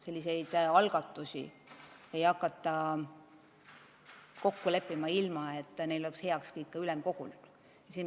Selliseid algatusi ei hakata kokku leppima, ilma et neil oleks ülemkogu heakskiit.